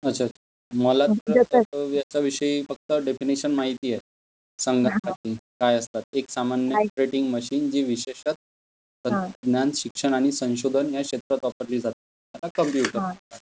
अच्छा, मला तर कम्प्युटरच्या विषयी फक्त डेफिनिशन माहिती आहे सांगन्याच तात्पर्य काय असतात, एक सामान्य ऑपरेटिंग मशीन जे विशेषत ज्ञान, शिक्षण आणि संशोधन या क्षेत्रात वापरली जाते तथा कप्यूटर.